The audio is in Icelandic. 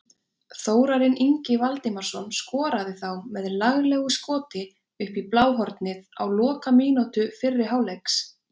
Þórarinn Ingi Valdimarsson skoraði þá með laglegu skoti upp í bláhornið á lokamínútu fyrri hálfleiks.